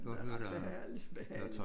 Det ret behagelig behageligt